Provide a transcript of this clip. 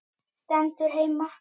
Stendur heima!